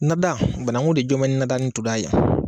Nada bananku de jɔnbɛɛ ni nadani tu da yan.